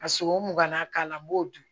Ka sogo mugan na k'a la n b'o dun